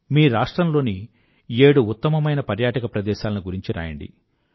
మీ రాష్ట్రం లోని ఏడు ఉత్తమమైన పర్యాటక ప్రదేశాలను గురించి రాయండి